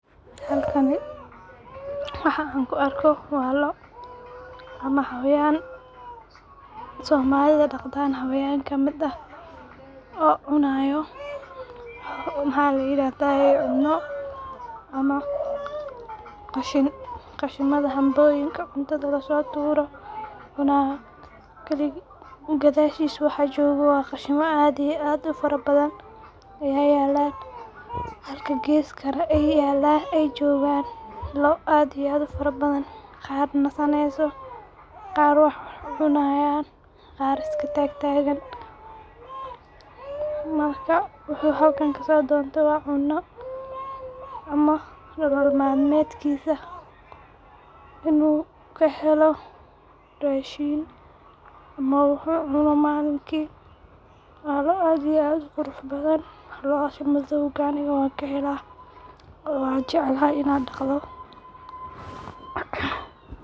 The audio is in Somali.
Halkani waxan kuarko waa loo ama xayawan somalidha daqdan xawayan kamid ah oo cunayo maxaa layiradayee cuno ama qashiimadha hambooyinka cuntadha lasoturo kabid gadhashiisa waxa joogo wa qashima aad iyo aad u fara badhan ya yala halka geeska akle eey joogan loo aad iyo add u fara badhan qaar wax cunayan qaar na iskatagtagan, marka wuxuu halkan kaso dontee cuuno ama nolol mal medkiisa in uu kahelo raashin ama wuxuu cuno maalinkii waa loo aad iyo aad u qurux badhan, loodhas madhoga aniga wanka heela oo wan jeclahay in aan daqdhoo.